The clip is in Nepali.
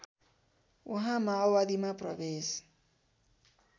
उहाँ माओवादीमा प्रवेश